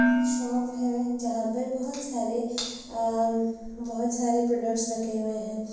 एक शॉप है जहाँ पर बहोत सारे अमम बहोत सारे प्रोडक्टस रखे हुए हैं।